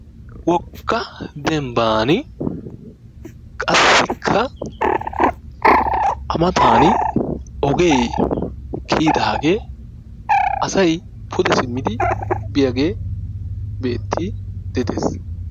Wogga dembbaani qassikka a mataani ogee kiyidaagee asayi pude simmidi biyagee beettiiddi de"es.